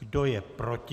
Kdo je proti?